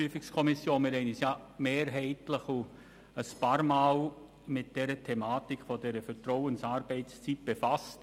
Wir haben uns mehrheitlich und mehrmals mit der Thematik der Vertrauensarbeitszeit befasst.